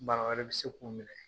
Bana wɛrɛ bɛ se k'u minɛ.